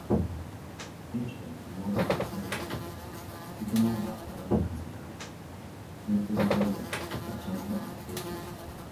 E jiri m ndụmọdụ gbasara ego site n'ọgbakọ anyị hazịghari ụgwọ iheụlọ kacha mkpa ịkwụ.